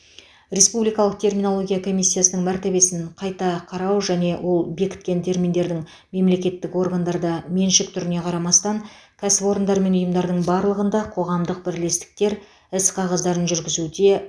республикалық терминология комиссиясының мәртебесін қайта қарау және ол бекіткен терминдердің мемлекеттік органдарда меншік түріне қарамастан кәсіпорындар мен ұйымдардың барлығында қоғамдық бірлестіктерде іс қағаздарын жүргізуде